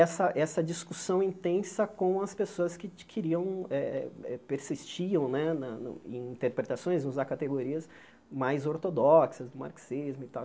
Essa essa discussão intensa com as pessoas que queriam eh eh eh, persistiam né na na no em interpretações, em usar categorias mais ortodoxas, do marxismo e tal.